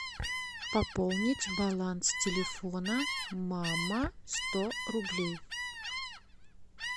пополнить баланс телефона мама сто рублей